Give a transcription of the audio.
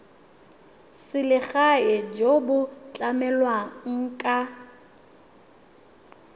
selegae jo bo tlamelang ka